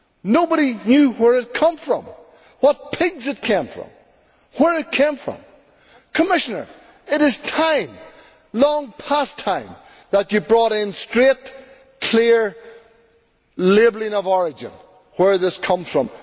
Nobody knew where it had come from, what pigs it came from or where it came from. Commissioner, it is time, long past time, that you brought in straight, clear labelling of origin of where this comes from.